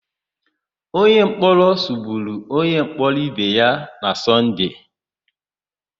Onyemkpọrọ sụgburu onyemkpọrọ ibe ya na Sọnde.